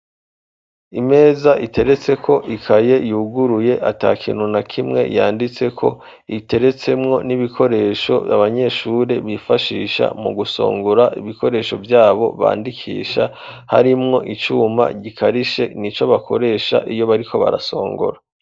imeza iteretseko ikaye yuguruye atakintu na kimwe yanditseko iteretsemwo n'ibikoresho abanyeshuri bifashisha mu gusongora ibikoresho byabo bandikisha harimwo icuma gikarishe nico bakoresha iyo bariko barasongora